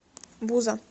буза